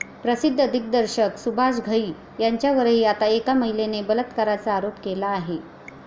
प्रसिद्ध दिग्दर्शक सुभाष घई यांच्यावरही आता एका महिलेने बलात्काराचा आरोप केला आहे.